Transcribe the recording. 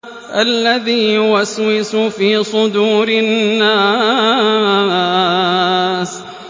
الَّذِي يُوَسْوِسُ فِي صُدُورِ النَّاسِ